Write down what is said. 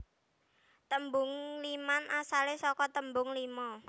Tembung ngliman asale saka tembung lima